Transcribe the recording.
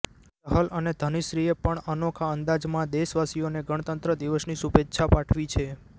ચહલ અને ધનશ્રીએ પણ અનોખા અંદાજમાં દેશવાસીઓને ગણતંત્ર દિવસની શુભેચ્છા પાઠવી છે